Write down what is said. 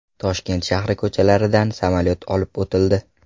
Toshkent shahri ko‘chalaridan samolyot olib o‘tildi.